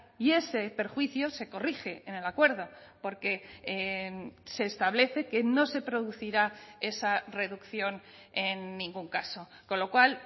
y ese perjuicio se corrige en el acuerdo porque se establece que no se producirá esa reducción en ningún caso con lo cual